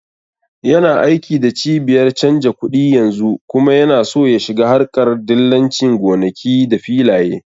Yana aiki da cibiyar canja kuɗi yanzu kuma yana so ya shiga harƙar dillancin gonaki da filaye